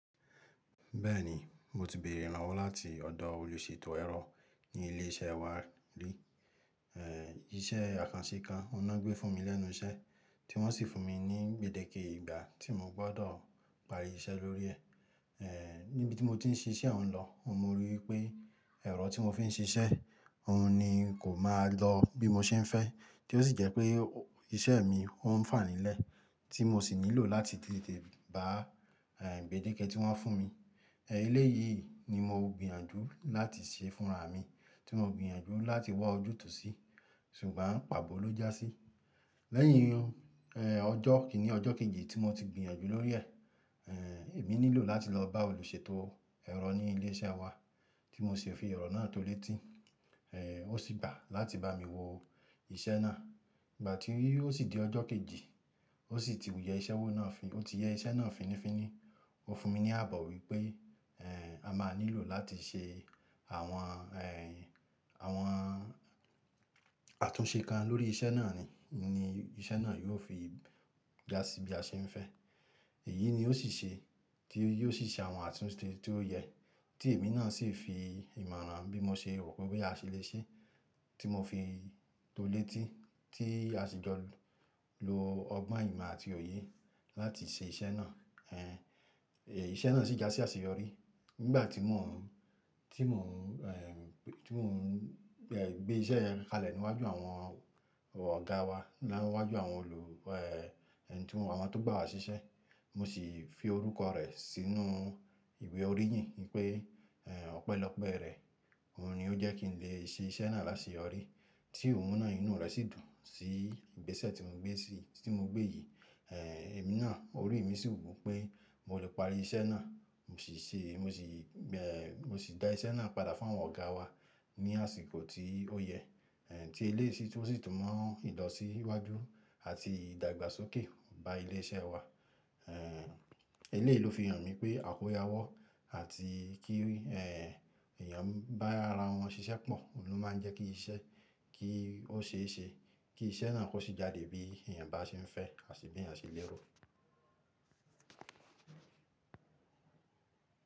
Bẹ́ẹ̀ni, mo ti bèerè irànwọ́ láti ọ̀dọ̀ olùṣètò ẹ̀rọ ní ilé iṣẹ́ wa rí. Eeh, iṣẹ́ àkànṣe kan ọhun lo gbé fún mi lẹ́nu iṣẹ́ tí wọ́n sì fún mi ní gbèdéke ìgbà tí mo gbọ́dọ̀ parí iṣẹ́ lórí ẹ̀. Eeh, níbi tí mo ti ń ṣiṣẹ́ ọ̀hún lọ, mo ríi pé ẹ̀rọ tí mo fi ń ṣiṣẹ́ ọ̀hún ni kò máa lọ bí mo ṣe ń fẹ́, tí ó sì jẹ́ pé iṣẹ́ mi ọ́n fà nílẹ̀ tí mo sì nílò láti tètè bá, eeh gbèdéke tí wọ́n fún mi. Eeh eléyìí ni mo gbìyànjú láti ṣe fúnra mi tí mo gbìyànjú láti wá ojútùú sí, ṣùgbọ́n pàbọ́ ló já sí. Lẹ́yìn, eeh ọjọ́ kíni ọjọ́ kejì tí mo ti gbìyànjú lórí ẹ̀, eeh èmi nílò láti lọ bá olùṣètò ẹ̀rọ ní ilé iṣẹ́ wa tí mo sì fi orọ náà tó létí, eeh ó sì gbà láti bá mi wo iṣẹ́ náà. Ìgbà tíi ó sì di ọjọ́ kejì, ó sì ti wù yẹ iṣẹ́ náà fín- ó ti yẹ iṣẹ́ náà fínnífínní. Ó fún mi ní àbọ̀ wípé, eeh a máa nílò láti ṣe àwọn, eeh àwọn àtúnṣe kan lórí iṣẹ́ náà ni, ni iṣẹ́ náà yóò fi já sí bí a ṣe ń fẹ́. Èyí ni ó sì ṣe, tí ó sì ṣe àwọn àtúnṣe tí ó yẹ tí èmi náà sì fi ìmọ̀ràn bí mo ṣe rò pé bé àṣẹ lè ṣe tí mo fi tó létí tí a sì jọ lo ọgbon, ìmọ̀ àti òye láti ṣe iṣẹ́ náà. Eeh iṣẹ́ náà sì jásí àṣeyọrí nígbà tí mò ń, tí mò ń, eeh tí mò ń, eeh gbé iṣẹ́ kalẹ̀ níwájú àwọn ọ̀gá wa, wájú àwọn olù, eeh àwọn tó gbá wa ṣiṣẹ́. Mo sì fi orúkọ rẹ̀ sínú ìwé oríyìn npé, eeh ọpẹ́lọpẹ́ rẹ̀ òun ni ó jẹ́ kí n lè ṣe iṣẹ́ náà lásẹyọrí. Tí òun ná inú rẹ̀ sì dùn sí igbese tí mo gbé sí, tí mo gbé yìí. Eeh èmi náà orí mi sì wù pé mo lè parí iṣẹ́ náà. Mo sì ṣe, mo sì, eeh mo sì dá iṣẹ́ náà padà fún àwọn ọ̀gá wa ní àsìkò tí ó yẹ, eeh tí eléyìí sì tún mọ ń ilọ̀sí iwájú àti ìdàgbàsókè bá ilé iṣẹ́ wa. Eléyìí ló fi hàn mi pé àkójáwọ́ àti kí, eeh èèyàn bá ara wọn ṣiṣẹ́ pọ̀ ló máa ń jẹ́ kí iṣẹ́ kí ó ṣeé ṣe kí iṣẹ́ náà kó sì jáde bí èèyàn bá ṣe ń fẹ́ àti bí èèyàn ṣe lérò.